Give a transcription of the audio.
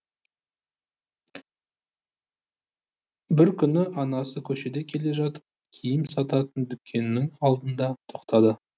бір күні анасы көшеде келе жатып киім сататын дүкеннің алдына тоқтады